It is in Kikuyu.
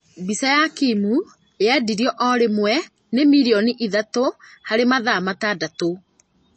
Mbica ya Kim yendirwo oro rĩmwe nĩ milioni ithathatũ harĩ mathaa matandatũ